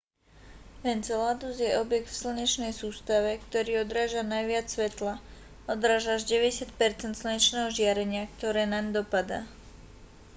enceladus je objekt v slnečnej sústave ktorý odráža najviac svetla odráža až 90 percent slnečného žiarenia ktoré naň dopadá